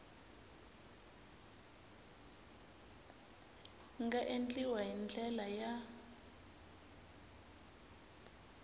nga endliwa hi ndlela ya